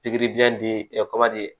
Pikiri biyɛn di